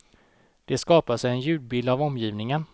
De skapar sig en ljudbild av omgivningen.